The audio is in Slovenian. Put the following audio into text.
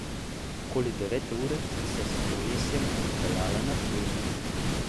Okoli devete ure sta se s kolesljem odpeljala na Ptuj.